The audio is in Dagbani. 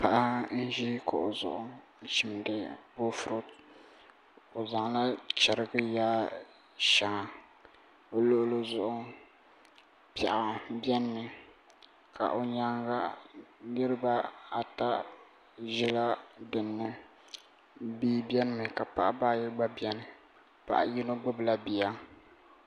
Paɣa n ʒi kuɣu zuɣu n chimdi boofurooto o zaŋla chɛrigi yaai shɛŋa o luɣuli zuɣu piɛɣu biɛni mi ka o nyaanga niraba ata ʒila dinni bia biɛni mi ka Paɣaba ayi gba biɛni paɣa yino gbubila bia